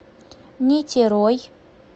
нитерой